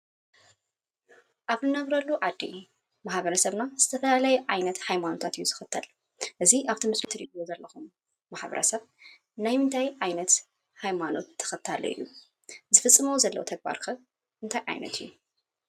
ኣብ ንነብረሉ ዓዲ ማሕበረሰብና ዝተፈላለየ ዓይነት ሃይማኖታት እዩ ዝኽተል ።እዚ ኣብቲ ምስሊ ትርእይዎ ዘለኹም ማሕበረሰብ ናይ ምንታይ ዓይነት ሃይማኖት ተኸታሊ እዩ? ዝፍፅምዎ ዘለዉ ተግባር ኸ እንታይ ዓይነት እዩ?